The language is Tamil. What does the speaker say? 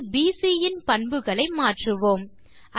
வில் பிசி இன் பண்புகளை மாற்றுவோம்